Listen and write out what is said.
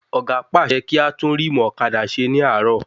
Ọ̀gá pàṣẹ kí á tún ríìmù ọ̀kadà ṣe ní àárò